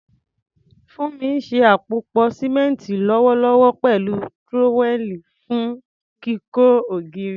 Funmi ń ṣe àpòpọ̀ símẹ́ńtì lọ́wọ́lọ́wọ́ pẹ̀lú trowel fún kíkọ́ ògiri.